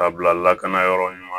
K'a bila lakana yɔrɔ ɲuman